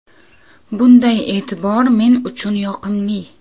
Bunday e’tibor men uchun yoqimli.